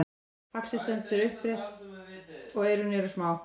faxið stendur upprétt og eyrun eru smá